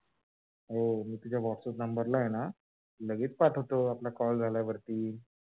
हो मी तुझ्या whatsappnumber ला आहे लगेच पाठवतो. आपला call झाल्यावरती